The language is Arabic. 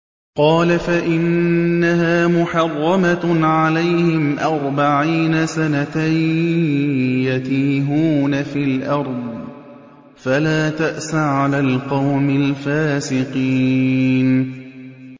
قَالَ فَإِنَّهَا مُحَرَّمَةٌ عَلَيْهِمْ ۛ أَرْبَعِينَ سَنَةً ۛ يَتِيهُونَ فِي الْأَرْضِ ۚ فَلَا تَأْسَ عَلَى الْقَوْمِ الْفَاسِقِينَ